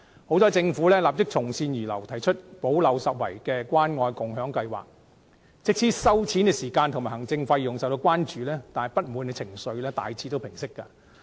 幸好政府立即從善如流，提出補漏拾遺的關愛共享計劃，即使收錢時間及行政費用受到關注，但不滿情緒亦大致平息。